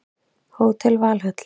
Hótel Valhöll